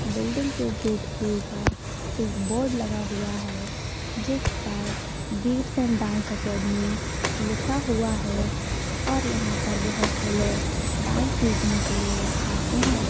Building के gate के ऊपर एक बोर्ड लगा हुआ है जिस पर बिट्स एण्ड डांस अकादेमी लिखा हुआ है और यहाँ पर बहुत से लोग डांस सीखने के लिए आते है।